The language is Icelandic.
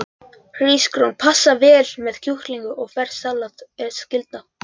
Hrísgrjón passa vel með kjúklingi og ferskt salat er skylda.